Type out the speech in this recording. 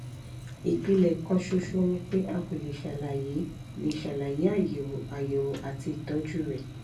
ìpìlẹ̀ kan ṣoṣo ni pé a kò lè ṣàlàyé lè ṣàlàyé àyẹ̀wò àyẹ̀wò àti ìtọ́jú rẹ̀